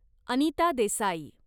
Anita Desai